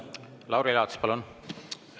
Lauri Laats, palun!